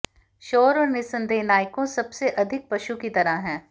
शोर और निस्संदेह नायकों सबसे अधिक पशु की तरह हैं